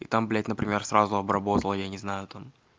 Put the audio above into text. и там блядь например сразу обработала я не знаю там